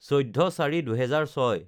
১৪/০৪/২০০৬